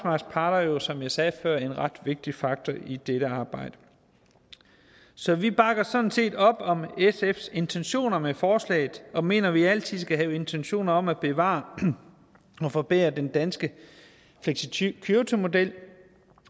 parter jo som jeg sagde før en ret vigtig faktor i dette arbejde så vi bakker sådan set op om sfs intentioner med forslaget og mener at vi altid skal have intentioner om at bevare og forbedre den danske flexicuritymodel